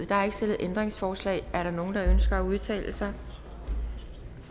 der er ikke stillet ændringsforslag er der nogen der ønsker at udtale sig